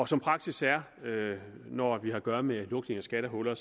som praksis er når vi har at gøre med lukning af skattehuller